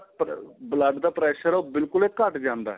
ਅਹ blood ਦਾ pressure ਏ ਉਹ ਬਿਲਕੁਲ ਏ ਘੱਟ ਜਾਂਦਾ ਏ